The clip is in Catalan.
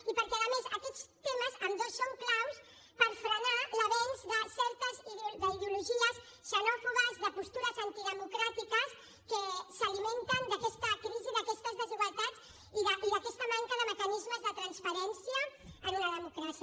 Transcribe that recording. i perquè a més aquests temes ambdós són claus per frenar l’avenç d’ideologies xenòfobes de postures antidemocràtiques que s’alimenten d’aquesta crisi d’aquestes desigualtats i d’aquesta manca de mecanismes de transparència en una democràcia